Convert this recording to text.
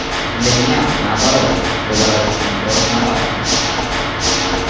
для меня наоборот будоражащим кровь набатом